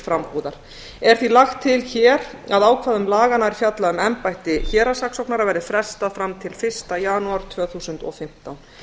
frambúðar er því lagt til hér að ákvæðum laganna er fjalla um embætti héraðssaksóknara verði frestað fram til fyrsta janúar tvö þúsund og fimmtán